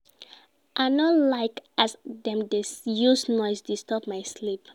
I no like as dem dey use noise disturb my sleep.